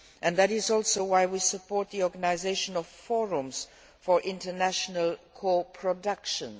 That is also why we support the organisation of forums for international co productions.